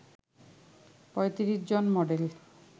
৩৫ জন মডেল